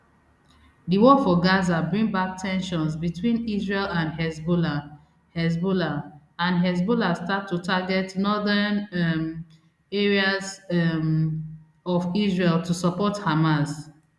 di war for gaza bring back ten sions between israel and hezbollah hezbollah and hezbollah start to target northern um areas um of israel to support hamas